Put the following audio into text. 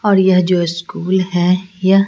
और यह जो स्कूल है ।